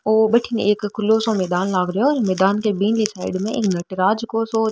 ओ बठीने एक खुलो सो मैदान लाग रहियो ई मैदान के बिन्की साइड में एक नटराज को सो --